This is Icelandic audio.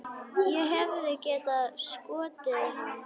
Ég hefði getað skotið hann.